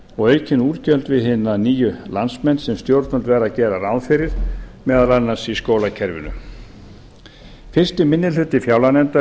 og aukin útgjöld við hina nýju landsmenn sem stjórnvöld verða að gera ráð fyrir meðal annars í skólakerfinu fyrsti minni hluti fjárlaganefndar